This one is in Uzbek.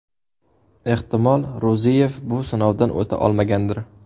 Ehtimol, Ro‘ziyev bu sinovdan o‘ta olmagandir.